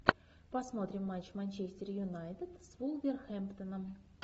посмотрим матч манчестер юнайтед с вулверхэмптоном